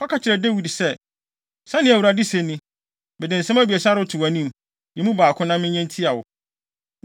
“Kɔka kyerɛ Dawid sɛ, Sɛnea Awurade se ni: ‘Mede nsɛm abiɛsa reto wʼanim. Yi mu baako na menyɛ ntia wo.’ ”